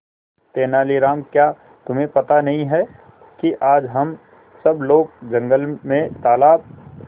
तेनालीराम क्या तुम्हें पता नहीं है कि आज हम सब लोग जंगल में तालाब